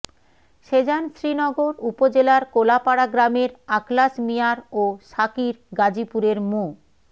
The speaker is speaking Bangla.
সেজান শ্রীনগর উপজেলার কোলাপাড়া গ্রামের আখলাস মিয়ার ও সাকির গাজীপুরের মো